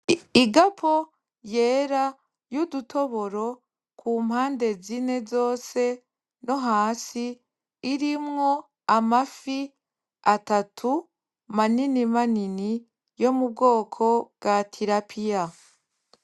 Igapo yera y’udutoboro kumpande zine zose no hasi irimwo amafi atatu manini manini yo mubwoko bwa tilapiya.